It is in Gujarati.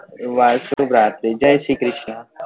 વાહ શુભ રાત્રી જય શ્રી ક્રિષ્ના